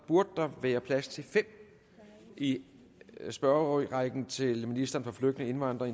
burde der være plads til fem i spørgerækken til ministeren for flygtninge indvandrere